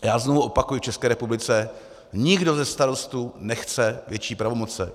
Já znovu opakuji, v České republice nikdo ze starostů nechce větší pravomoci.